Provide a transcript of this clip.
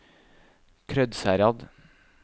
Krødsherad